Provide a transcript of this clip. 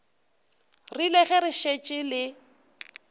rile ge le šetše le